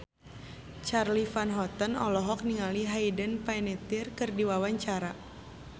Charly Van Houten olohok ningali Hayden Panettiere keur diwawancara